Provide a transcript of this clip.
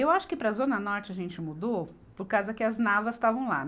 Eu acho que para a Zona Norte a gente mudou por causa que as Navas estavam lá.